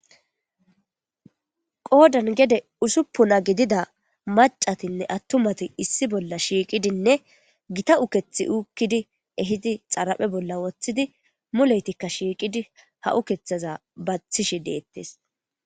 qoodan gede usuppuna gidida macatinne attumati issi bolla shiiqidinne gita ukethi uukkidi ehidi xaraphe bolla woththidi muleytikka shiiqidi ha7u kethaza bathishi deettes